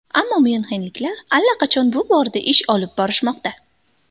Ammo myunxenliklar allaqachon bu borada ish olib borishmoqda.